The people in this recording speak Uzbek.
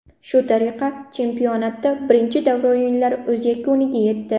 Shu tariqa chempionatda birinchi davra o‘yinlari o‘z yakuniga yetdi.